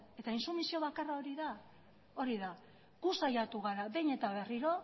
eta intsumisio bakarra hori da hori da gu saiatu gara behin eta berriro